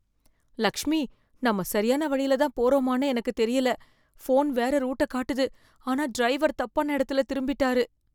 லக்ஷ்மி, நம்ம சரியான வழியில தான் போறோமானு எனக்கு தெரியல. ஃபோன் வேற ரூட்ட காட்டுது ஆனா டிரைவர் தப்பான இடத்துல திரும்பிட்டாரு.